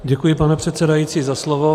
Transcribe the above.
Děkuji, pane předsedající, za slovo.